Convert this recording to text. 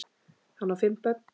Hann á fimm börn.